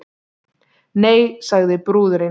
Nei, sagði brúðurin.